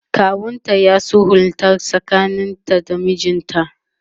kawunta ya sulhunta tsakanin ta da mijinta